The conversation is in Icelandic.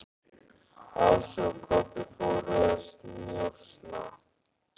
Ási og Kobbi fóru að njósna.